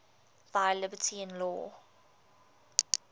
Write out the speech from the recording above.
thy liberty in law